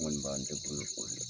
Ŋɔni b'a n te golo fori